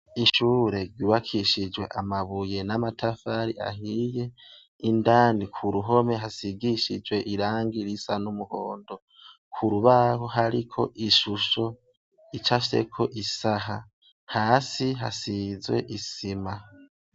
Ishure ryubakishijwe amabuye n'amatafari ahiye indani ku ruhome hasigishijwe iranga irisa n'umuhondo ku rubaho hariko ishusho ica sheko isaha hasi hasizwe isima.